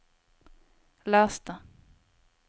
les det